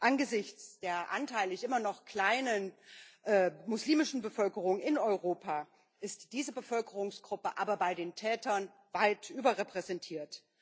Angesichts der anteilig immer noch kleinen muslimischen Bevölkerung in Europa ist diese Bevölkerungsgruppe aber bei den Tätern weit überrepräsentiert.